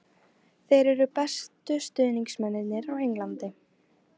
Þeir eru bestu stuðningsmennirnir á Englandi.